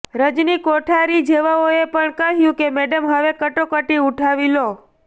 રજની કોઠારી જેવાઓએ પણ કહ્યું કે મેડમ હવે કટોકટી ઉઠાવી લો